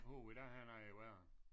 Puh den her er noget værre